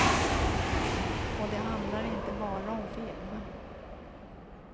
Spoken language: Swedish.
Och det handlar inte bara om film.